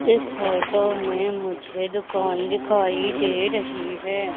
इस फोटो में मुझे दुकान दिखाई दे रही हैं।